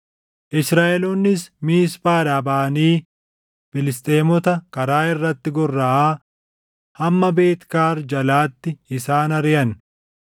Israaʼeloonnis Miisphaadhaa baʼanii Filisxeemota karaa irratti gorraʼaa hamma Beet Kaari jalaatti isaan ariʼan.